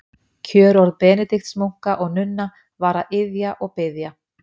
Kjörorð Benediktsmunka og-nunna var að iðja og biðja.